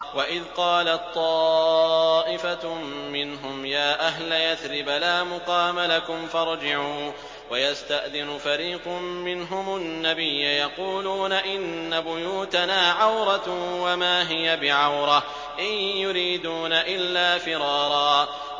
وَإِذْ قَالَت طَّائِفَةٌ مِّنْهُمْ يَا أَهْلَ يَثْرِبَ لَا مُقَامَ لَكُمْ فَارْجِعُوا ۚ وَيَسْتَأْذِنُ فَرِيقٌ مِّنْهُمُ النَّبِيَّ يَقُولُونَ إِنَّ بُيُوتَنَا عَوْرَةٌ وَمَا هِيَ بِعَوْرَةٍ ۖ إِن يُرِيدُونَ إِلَّا فِرَارًا